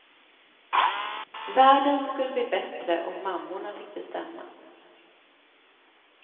Världen skulle bli bättre om mammorna fick bestämma.